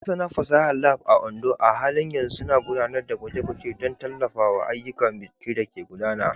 Masana fasahar Lab a Ondo a halin yanzu suna gudanar da gwaje-gwaje don tallafawa ayyukan bincike da ke gudana.